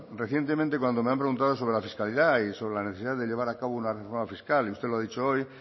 recientemente cuando me han preguntado sobre la fiscalidad y sobre la necesidad de llevar a cabo una reforma fiscal y usted lo ha dicho hoy